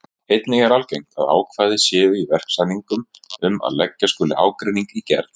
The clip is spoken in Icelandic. Einnig er algengt að ákvæði séu í verksamningum um að leggja skuli ágreining í gerð.